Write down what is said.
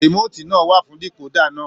Remotii náà wà fún dekoda náà.